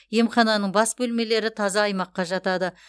емхананың басқа бөлмелері таза аймаққа жатады